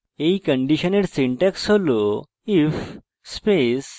এই ifelse condition syntax হল